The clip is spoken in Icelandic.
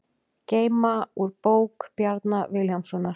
Geyma úr bók Bjarna Vilhjálmssonar